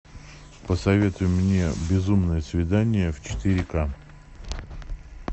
посоветуй мне безумное свидание в четыре к